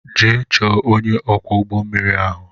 Jee chọọ ọnye ọkwọ ụgbọ mmiri ahụ!!!